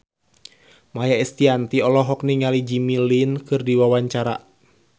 Maia Estianty olohok ningali Jimmy Lin keur diwawancara